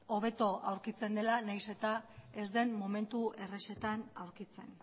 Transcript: hobeto aurkitzen dela nahiz eta ez den momentu errezetan aurkitzen